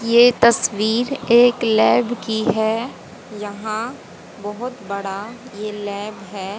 ये तस्वीर एक लैब की है यहां बहोत बड़ा ये लैब है।